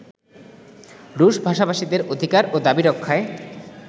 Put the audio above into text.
রুশভাষাভাষীদের অধিকার ও দাবি রক্ষায়